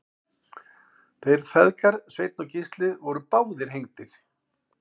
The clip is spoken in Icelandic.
þeir feðgar sveinn og gísli voru báðir hengdir